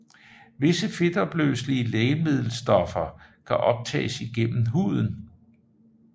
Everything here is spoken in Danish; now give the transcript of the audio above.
Visse fedtopløselige lægemiddelstoffer kan optages igennem huden